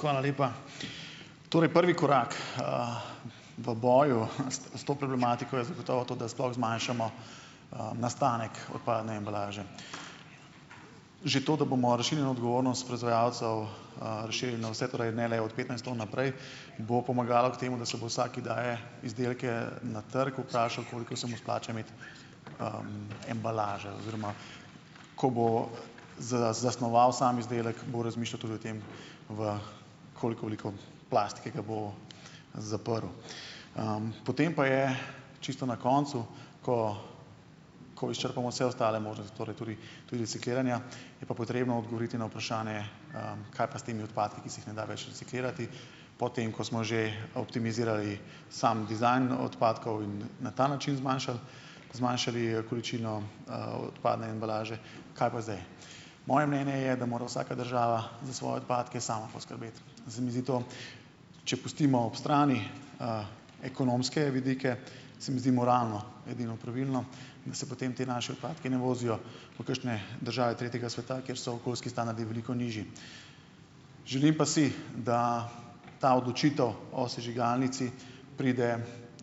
Hvala lepa. Torej prvi korak v boju s to problematiko je zagotovo to, da sploh zmanjšamo nastanek odpadne embalaže. Že to, da bomo odgovornost proizvajalcev, razširili na vse prej, ne le od petnajst tam naprej, bo pomagalo k temu, da se bo vsak, ki daje izdelke na trg, vprašal, koliko se mu splača imeti embalaže, oziroma ko bo zasnoval sam izdelek, bo razmišljal tudi o tem, v koliko plastike ga bo zaprl. Potem pa je čisto na koncu, ko ko izčrpamo vse ostale možnosti, torej tudi tudi recikliranja, je pa potrebno odgovoriti na vprašanje, kaj pa s temi odpadki, ki se jih ne da več reciklirati, potem ko smo že optimizirali sam dizajn odpadkov in na ta način zmanjšali, zmanjšali količino, odpadne embalaže, kaj pa zdaj. Moje mnenje je, da mora vsaka država za svoje odpadke sama poskrbeti. Zdaj mi zdi to, če pustimo ob strani ekonomske vidike, se mi zdi moralno edino pravilno, da se potem ti naši odpadki ne vozijo v kakšne države tretjega sveta, kjer so okoljski standardi veliko nižji. Želim pa si, da ta odločitev o sežigalnici pride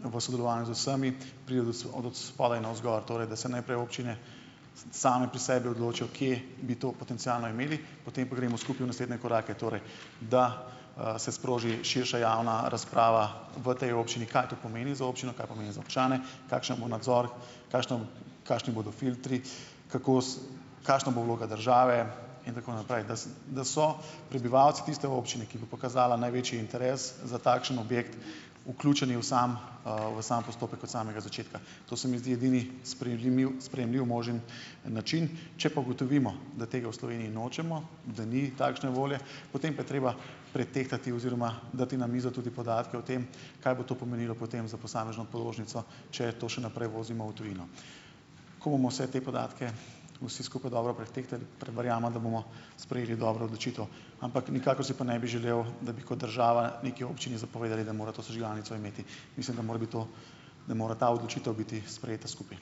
v sodelovanju z vsemi pride od od spodaj navzgor. Torej, da se najprej občine same pri sebi odločijo, kje bi to potencialno imeli, potem pa gremo skupaj v naslednje korake, torej. Da, se sproži širša javna razprava v tej občini, kaj to pomeni za občino, kaj pomeni za občane, kakšen bo nadzor, kakšna kakšni bodo filtri, kako kakšna bo vloga države in tako naprej. Da da so prebivalci tiste občine, ki bo pokazala največji interes za takšen objekt, vključeni v sam, v sam postopek od samega začetka. To se mi zdi edini sprejemljiv možen način. Če pa ugotovimo, da tega v Sloveniji nočemo, da ni takšne volje, potem pa je treba pretehtati oziroma dati na mizo tudi podatke o tem, kaj bo to pomenilo potem za posamezno položnico, če to še naprej vozimo v tujino. Ko bomo vse te podatke vsi skupaj dobro pretehtali, verjamem, da bomo sprejeli dobro odločitev. Ampak nikakor si pa ne bi želel, da bi kot država neki občini zapovedali, da mora to sežigalnico imeti. Mislim, da mora bi to, da mora ta odločitev biti sprejeta skupaj.